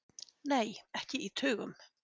Nei, ekki í tugum.